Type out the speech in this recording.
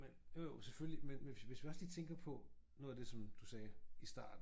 Men jo jo selvfølgelig men men hvis hvis vi også lige tænker på noget af det som du sagde i starten